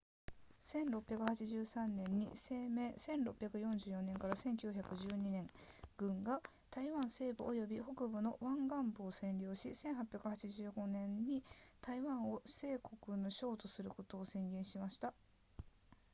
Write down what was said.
1683年に清朝 1644～1912 年軍が台湾西部および北部の沿岸部を占領し1885年に台湾を清国の省とすることを宣言しました